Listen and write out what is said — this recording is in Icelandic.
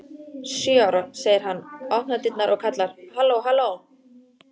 Sjö ára, segir hann, opnar dyrnar og kallar: halló halló